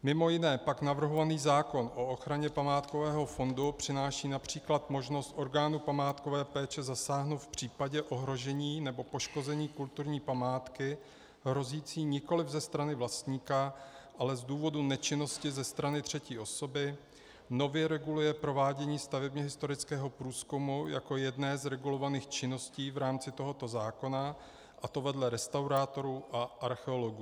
Mimo jiné pak navrhovaný zákon o ochraně památkového fondu přináší například možnost orgánů památkové péče zasáhnout v případě ohrožení nebo poškození kulturní památky hrozící nikoliv ze strany vlastníka, ale z důvodu nečinnosti ze strany třetí osoby, nově reguluje provádění stavebně historického průzkumu jako jedné z regulovaných činností v rámci tohoto zákona, a to vedle restaurátorů a archeologů.